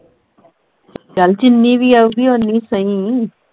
ਚੱਲ ਜਿੰਨੀ ਵੀ ਆਊਗੀ ਉਨੀ ਸਹੀ।